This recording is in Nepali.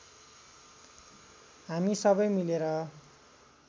हामी सबै मिलेर